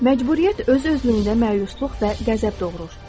Məcburiyyət öz-özlüyündə məyusluq və qəzəb doğurur.